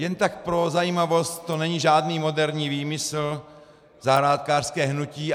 Jen tak pro zajímavost, to není žádný moderní výmysl, zahrádkářské hnutí.